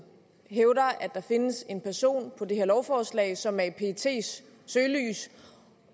hævder at der findes en person på det her lovforslag som er i pets søgelys